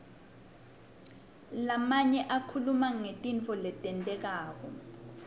lamanye akhuluma ngetintfo letentekako